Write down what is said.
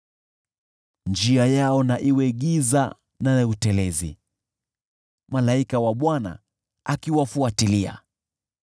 Njia yao na iwe giza na ya utelezi, malaika wa Bwana akiwafuatilia.